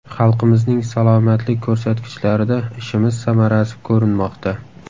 Xalqimizning salomatlik ko‘rsatkichlarida ishimiz samarasi ko‘rinmoqda.